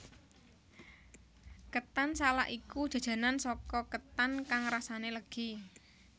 Ketan salak iku jajanan saka ketan kang rasane legi